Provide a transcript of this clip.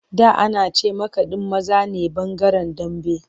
Dan’anace makadin maza ne bangaren Dambe.